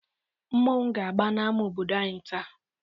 Mmọnwụ ga-agba n'ámá obodo anyị taa.